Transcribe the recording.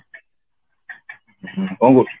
ହୁଁ କଣ କରୁଛୁ?